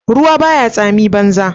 Ruwa ba ya tsamin banza.